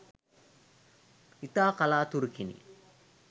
ඉතා කලාතුරකිනි